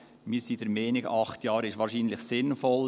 Wir sind der Meinung, acht Jahre seien wahrscheinlich sinnvoll.